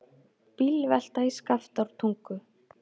Bílvelta í Skaftártungu